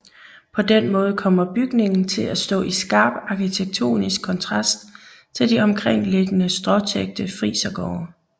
På den måde kommer bygningen til at stå i skarp arkitektonisk kontrast til de omkringliggende stråtækte frisergårde